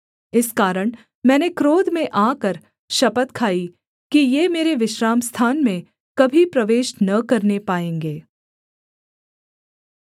इस कारण मैंने क्रोध में आकर शपथ खाई कि ये मेरे विश्रामस्थान में कभी प्रवेश न करने पाएँगे